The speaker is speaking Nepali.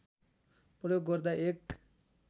प्रयोग गर्दा एक